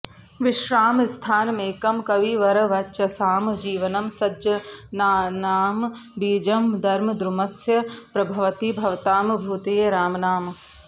विश्रामस्थानमेकं कविवरवचसां जीवनं सज्जनानम् बीजं धर्मद्रुमस्य प्रभवति भवतां भूतये रामनाम